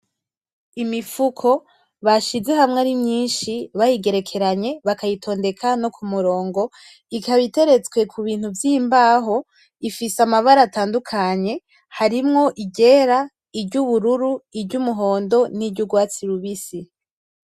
Imifuko bashize hamwe ari myinshi bayigerekeranye bakayitondeka no kumurongo ikaba iteretse kubintu vyimbaho ifise amabara atandukanye harimwo iryera iryubururu iryumuhondo niryugwatsi rubisi